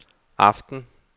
aften